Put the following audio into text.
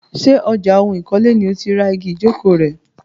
Ṣé ọjà ohun ìkọ́lé ni o ti ra igi ìjókòó rẹ?